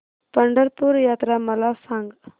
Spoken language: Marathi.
पंढरपूर यात्रा मला सांग